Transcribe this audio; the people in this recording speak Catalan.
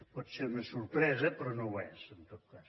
pot ser una sorpresa però no ho és en tot cas